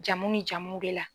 Jamu ni jamuw de la.